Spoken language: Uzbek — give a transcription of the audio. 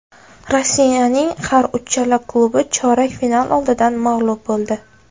Rossiyaning har uchala klubi chorak final oldidan mag‘lub bo‘ldi.